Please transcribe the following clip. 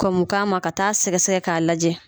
Kɔn mi k'a ma ka taa sɛgɛ sɛgɛ k'a lajɛ.